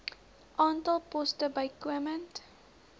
aantal poste bykomend